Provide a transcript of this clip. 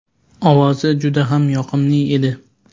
Ovozi juda ham yoqimli edi.